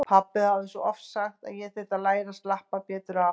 Pabbi hafði svo oft sagt að ég þyrfti að læra að slappa betur af.